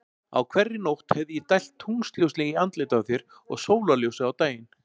Á hverri nótt hefði ég dælt tunglsljósi í andlitið á þér og sólarljósi á daginn.